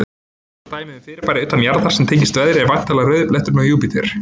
Frægasta dæmið um fyrirbæri utan jarðar sem tengist veðri er væntanlega rauði bletturinn á Júpíter.